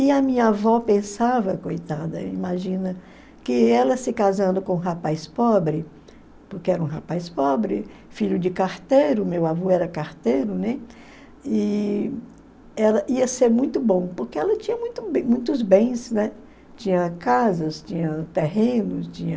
E a minha avó pensava, coitada, imagina, que ela se casando com um rapaz pobre, porque era um rapaz pobre, filho de carteiro, meu avô era carteiro, né, e ela ia ser muito bom, porque ela tinha muitos bens, tinha casas, tinha terrenos, tinha...